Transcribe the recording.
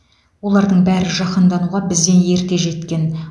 олардың бәрі жаһандануға бізден ерте жеткен